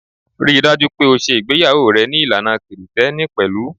Ri dájú pé o ṣe ìgbéyàwó rẹ ní ìlànà Kirìtẹ́nì pẹ̀lú.